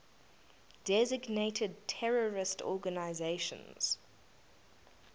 designated terrorist organizations